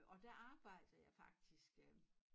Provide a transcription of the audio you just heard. Og der arbejdede jeg faktisk øh